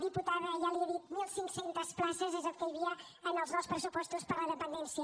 diputada ja li ho he dit mil cinc cents places és el que hi havia en els nous pressupostos per a la dependència